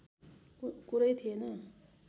कुरै थिएन